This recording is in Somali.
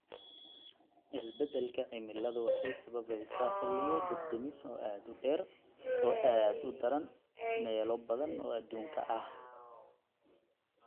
Isbeddelka cimiladu waxay sababaysaa xilliyo dab-damis oo aad u dheer oo aad u daran meelo badan oo adduunka ah.